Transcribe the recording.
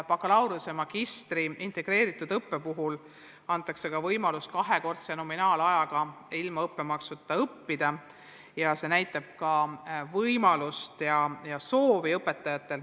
Bakalaureuse ja magistri integreeritud õppe puhul antakse võimalus ilma õppemaksuta õppida nii kaua, et see võrdub kahekordse nominaalajaga.